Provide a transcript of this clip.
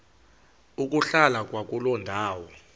ukuhlala kwakuloo ndawo